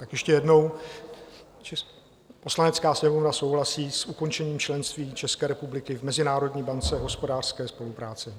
Tak ještě jednou: "Poslanecká sněmovna souhlasí s ukončením členství České republiky v Mezinárodní bance hospodářské spolupráce."